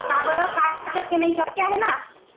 का बरं. काय शक्य नाही? शक्य आहे ना.